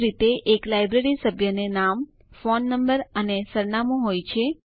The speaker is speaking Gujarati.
એ જ રીતે એક લાઈબ્રેરી સભ્યને નામ ફોન નંબર અને સરનામું હોય છે